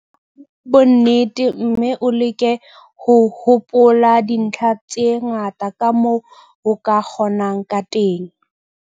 Araba ka bonnete mme o leke ho hopola dintlha tse ngata kamoo o ka kgonang ka teng.